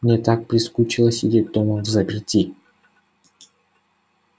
мне так прискучило сидеть дома взаперти